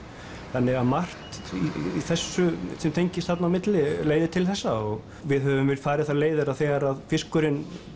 þannig að margt í þessu sem tengist þarna á milli leiðir til þessa og við höfum farið þær leiðir að þegar fiskurinn